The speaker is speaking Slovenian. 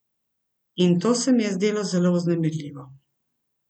In to se mi je zdelo zelo vznemirljivo.